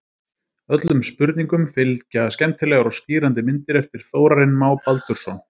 Öllum spurningum fylgja skemmtilegar og skýrandi myndir eftir Þórarinn Má Baldursson.